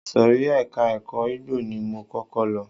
Ìsòrí ẹka ẹ̀kọ́ igbó ni mo kọ́kọ́ lọ.